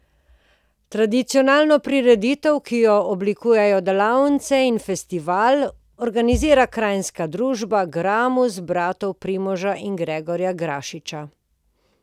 Tradicionalno prireditev, ki jo oblikujejo delavnice in festival, organizira kranjska družba Gramus bratov Primoža in Gregorja Grašiča.